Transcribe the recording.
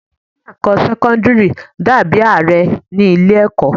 Olórí ilé ẹ̀kọ́ sẹ́kọ́ńdírì dà bí Ààrẹ ní ilé ẹ̀kọ́.